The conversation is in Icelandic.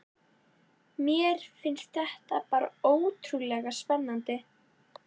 Mér fannst þetta bara svo ótrúlega spennandi.